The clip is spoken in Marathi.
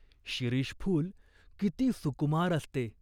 शिरीष फूल किती सुकुमार असते !